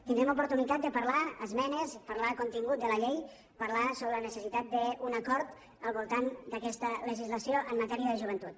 tindrem oportunitat de parlar d’esmenes i parlar del contingut de la llei parlar sobre la necessitat d’un acord al voltant d’aquesta legislació en matèria de joventut